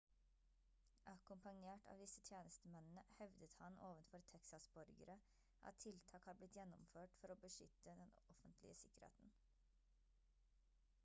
akkompagnert av disse tjenestemennene hevdet han ovenfor texas-borgere at tiltak har blitt gjennomført for å beskytte den offentlige sikkerheten